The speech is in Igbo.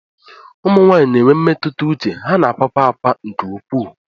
Ụmụ nwanyị na enwe mmetụta uche, ha na-akwakwa akwa nke ukwuu.